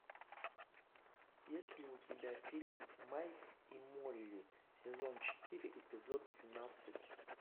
есть ли у тебя фильм майк и молли сезон четыре эпизод двенадцать